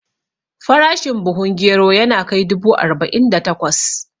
Farashin buhun gero yana kai dubu arba'in da takwas